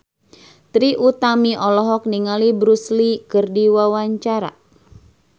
Trie Utami olohok ningali Bruce Lee keur diwawancara